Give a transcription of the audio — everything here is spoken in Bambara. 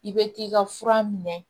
I bɛ t'i ka fura minɛ